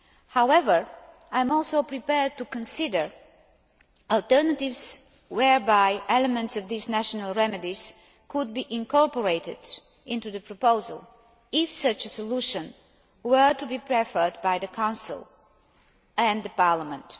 However, I am also prepared to consider alternatives whereby elements of these national remedies could be incorporated into the proposal, if such a solution were to be preferred by the Council and the Parliament.